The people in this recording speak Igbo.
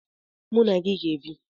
Mụ na gị ga-ebi.